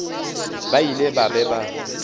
ba ile ba be ba